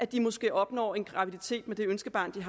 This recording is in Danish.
de måske opnår en graviditet med ønskebarnet